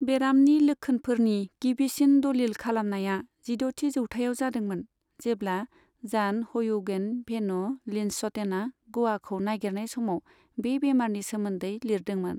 बेरामनि लोक्षोनफोरनि गिबिसिन दलिल खालामनाया जिद'थि जौथाइआव जादोंमोन जेब्ला जान हयुगेन भेन लिन्सच'टेना गोवाखौ नागिरनाय समाव बे बेमारनि सोमोन्दै लिरदोंमोन।